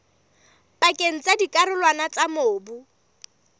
pakeng tsa dikarolwana tsa mobu